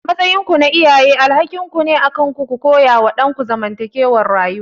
A matsayinku na iyaye alhakin ne akanku ku koyawa ɗanku zamantakewar rayuwa.